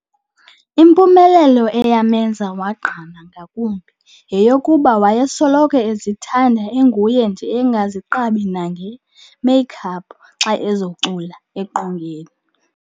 Impumelelo eyamenza wagqama ngakumbi yeyokuba wayesoloko ezithanda enguye nje engaziqabi nangee "make up" xa ezokucula eqongeni.